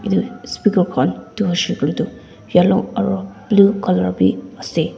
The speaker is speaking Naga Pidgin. etu speaker khan tuh hoishe koile tuh yellow aro blue colour bhi ase.